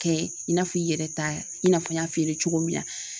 Kɛ i n'a fɔ i yɛrɛ ta, i n'a fɔ n y'a f'i ye cogo min na